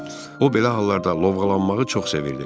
O belə hallarda lovğalanmağı çox sevirdi.